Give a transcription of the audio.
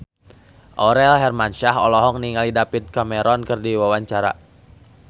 Aurel Hermansyah olohok ningali David Cameron keur diwawancara